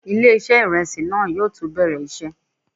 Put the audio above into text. Ilé-iṣẹ́ ìrẹsì náà yóò tó bẹ̀rẹ̀ iṣẹ́.